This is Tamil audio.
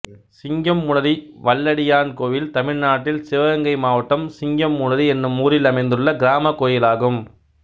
சிங்கம்புணரி வல்லடியான் கோயில் தமிழ்நாட்டில் சிவகங்கை மாவட்டம் சிங்கம்புணரி என்னும் ஊரில் அமைந்துள்ள கிராமக் கோயிலாகும்